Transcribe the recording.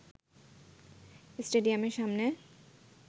স্টেডিয়ামের সামনে